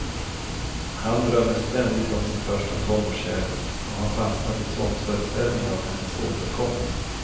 Han drömmer ständigt om sin första tonårskärlek och har fastnat i tvångsföreställningar om hennes återkomst.